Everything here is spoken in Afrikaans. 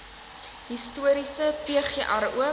historiese pgr oop